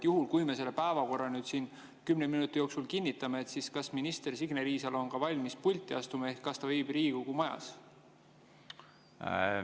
Juhul, kui me selle päevakorra siin kümne minuti jooksul kinnitame, siis kas minister Signe Riisalo on valmis pulti astuma ehk kas ta viibib Riigikogu majas?